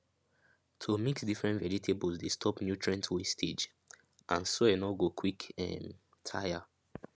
to mix different vegetables dey stop nutrients wastage and soil nor go quick um tire